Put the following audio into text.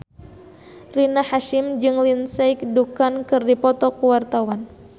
Rina Hasyim jeung Lindsay Ducan keur dipoto ku wartawan